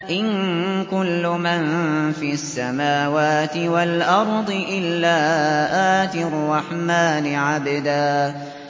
إِن كُلُّ مَن فِي السَّمَاوَاتِ وَالْأَرْضِ إِلَّا آتِي الرَّحْمَٰنِ عَبْدًا